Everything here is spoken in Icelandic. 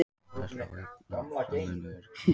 Áhersla á aukna samvinnu í öryggismálum